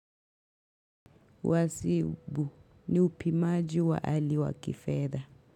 Wasibu ni upimaji wa hali wa kifedha.